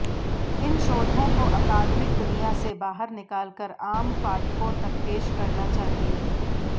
इन शोधों को अकादमिक दुनिया से बाहर निकालकर आम पाठकों तक पेश करना चाहिए